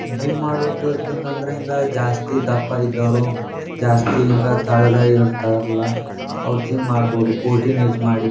Gym ಮಾಡೋದ್ರಿಂದ ಹಿಂಗ್ ಜಾಸ್ತಿ ದಪ್ಪ ಇದ್ದವ್ರು ಜಾಸ್ತಿ ಹಿಂಗ್ ತಳ್ಗ್ ಇರತ್ತರಲ್ಲಾ ಅವ್ರ್ ಜಿಮ್ ಮಾಡಬಹುದು ಫೋರ್ಟಿನ್ ಏಜ್ ಮಾಡಿ .